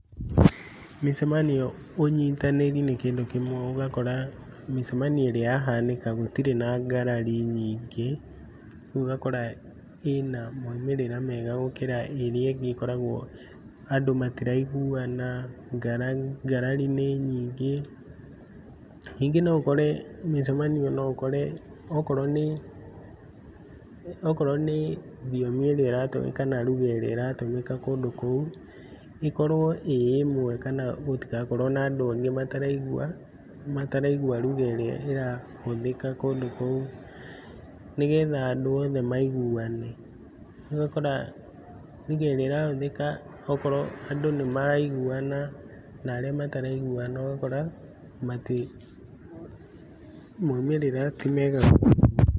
Mĩcemanio ũnyitanĩri nĩ kĩndũ kĩmwe ũgakora mĩcemanio ũrĩa yahanĩka gũtirĩ na ngarari nyingĩ, rĩũ ũgakora ĩna maũmĩrĩra mega gũkĩra ĩrĩa ĩngĩ ĩkoragwo andũ matĩraiguana, ngarari nĩ nyingĩ, ningĩ noũkore mĩcemanio noũkore ũkorwo nĩ thiomi ĩrĩa ĩratũmĩka na ruga ĩrĩa ĩratũmĩka kũndũ kũu ĩkorwo ĩĩ ĩmwe kana gũtigakorwe na andũ angĩ mataraigua, mataraigua ruga ĩrĩa ĩrahũthĩka kũndũ kũu nĩgetha andũ othe maiguane, ũgakora ruga ĩrĩa ĩrahũthĩka okorwo andũ nĩmaraiguana narĩa mataraiguana ũgakora maũmĩrĩra ti mega.